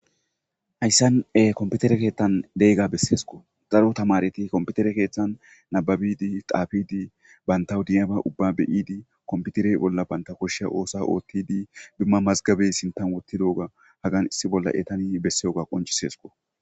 Haysan kompitere keetham fe'oyaha nessesko daro yamareti kompitere keeuhan nababidi xaafidibantaw de'iyaba ubbaba be'idi kompitere bolla banta koshiya oosa oothidi duma mazgabe sintha issi bolla wothidoga Hagan besiyoga qoncisesko.